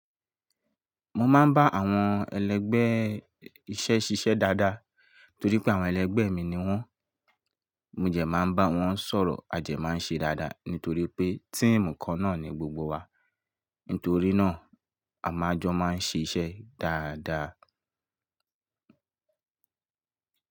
Mo máa ń bá àwọn ẹlẹgbẹ́ iṣẹ́ ṣiṣẹ́ dáadáa torí pé àwọn ẹlẹgbẹ́ mi ni wọ́n. Mó dè máa ń bá wọn sọ̀rọ̀, a dè máa ń ṣe dáadáa nítorí pé team kan náà ni gbogbo wa. Nítorí náà, a máa jọ máa ń ṣe iṣẹ́ dáadáa.